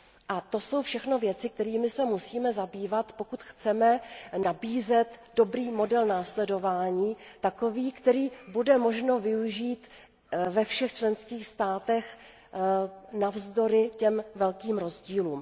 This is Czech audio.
A to jsou všechno věci, kterými se musíme zabývat, pokud chceme nabízet dobrý model k následování, takový, který bude možno využít ve všech členských státech navzdory těm velkým rozdílům.